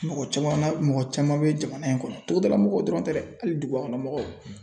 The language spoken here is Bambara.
Mɔgɔ caman na mɔgɔ caman bɛ jamana in kɔnɔ togoda lamɔgɔw dɔrɔn tɛ dɛ hali duguba kɔnɔ mɔgɔw.